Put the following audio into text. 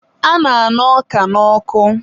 a na-aña ọka n'ọkụ